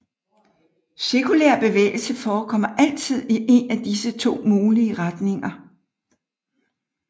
Cirkulær bevægelse forekommer altid i en af disse to mulige retninger